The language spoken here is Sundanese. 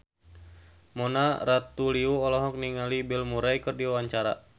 Mona Ratuliu olohok ningali Bill Murray keur diwawancara